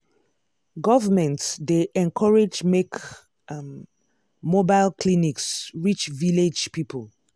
government dey encourage make um mobile clinics reach village people.